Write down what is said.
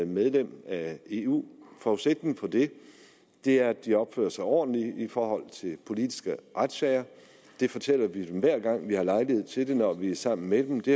medlem af eu forudsætningen for det det er at de opfører sig ordentligt i forhold til politiske retssager det fortæller vi dem hver gang vi har lejlighed til det når vi er sammen med dem og det